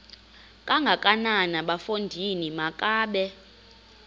kangakanana bafondini makabe